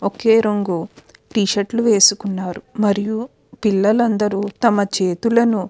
ఒకే రంగు టీషర్ట్ లు వేసుకున్నారు మరియు పిల్లలు అందరు తమ చేతులను --